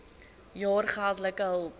jaar geldelike hulp